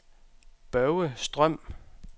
Børge Strøm